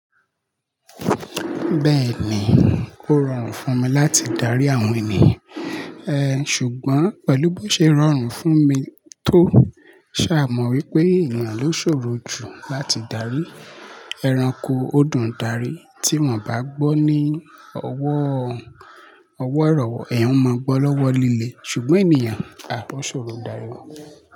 Bẹ́ẹ̀ni, ó rọrùn fún mi láti darí àwọn ènìyàn. E, ṣùgbọ́n pẹ̀lú bó ṣe rọrùn fún mi tó, ṣa mọ wípé ènìyàn ló ṣòro jù láti darí. Ẹranko ó dùn darí, tí wọ́n bá gbọ́ ní ọwọ́, ọwọ́ ìrọ̀wọ́, ẹ̀yin máa gbọ́ lọ́wọ́ líle. Ṣùgbọ́n ènìyàn, a o ṣòro darí wọn.